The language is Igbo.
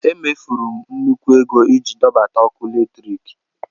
E mefuru m nnukwu ego iji dọbata ọkụ eletrik.